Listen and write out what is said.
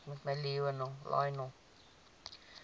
uitskot ooie jong